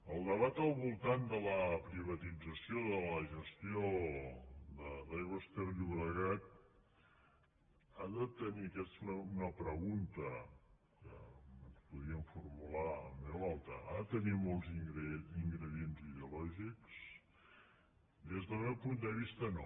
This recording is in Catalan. el debat al voltant de la privatització de la gestió d’aigües ter llobregat ha de tenir aquesta és una pregunta que ens podríem formular en veu alta molts ingredients ideològics des del meu punt de vista no